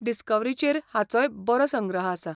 डिस्कव्हरीचेर हाचोय बरो संग्रह आसा.